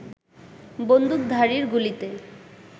বন্দুকধারীর গুলিতে